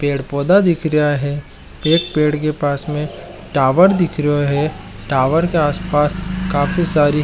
पेड़ पौधा दिख रहा है पेड़ के पास में टावर दिख रहा है टावर के आस पास काफी सारी --